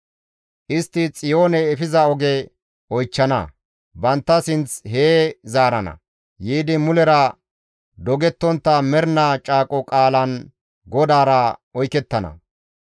Istti Xiyoone efiza oge oychchana; bantta sinth hee zaarana; yiidi mulera dogettontta mernaa caaqo qaalan GODAARA oykettana.